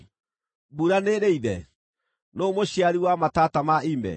Mbura nĩĩrĩ ithe? Nũũ mũciari wa matata ma ime?